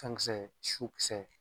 Kan kisɛ su kisɛ